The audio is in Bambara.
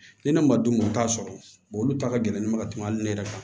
Ni ne ma dun u t'a sɔrɔ olu ta ka gɛlɛn mɛ ka tɛmɛ hali ne yɛrɛ kan